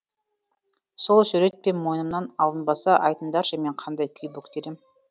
сол сүйретпе мойнымнан алынбаса айтыңдаршы мен қандай күй бөктерем